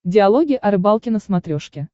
диалоги о рыбалке на смотрешке